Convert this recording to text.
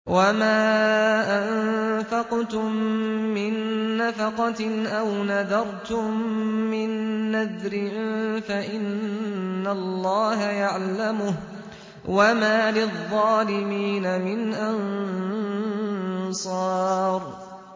وَمَا أَنفَقْتُم مِّن نَّفَقَةٍ أَوْ نَذَرْتُم مِّن نَّذْرٍ فَإِنَّ اللَّهَ يَعْلَمُهُ ۗ وَمَا لِلظَّالِمِينَ مِنْ أَنصَارٍ